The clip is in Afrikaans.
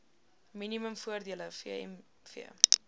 minimum voordele vmv